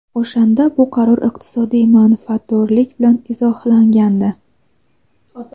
O‘shanda bu qaror iqtisodiy manfaatdorlik bilan izohlangandi.